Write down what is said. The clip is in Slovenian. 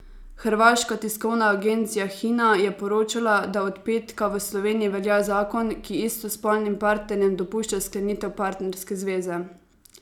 Hrvaška tiskovna agencija Hina je poročala, da od petka v Sloveniji velja zakon, ki istospolnim partnerjem dopušča sklenitev partnerske zveze.